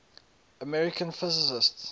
american physicists